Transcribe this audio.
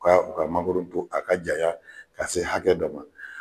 U ka u kngoro to a ka janya ka se hakɛ dɔ ma.